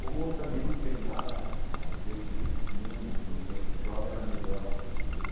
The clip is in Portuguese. Como eu também não tenho nada a dizer que o mundo no meu tempo de jovem era melhor do que o de hoje.